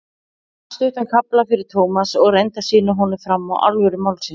Hún las stuttan kafla fyrir Thomas og reyndi að sýna honum fram á alvöru málsins.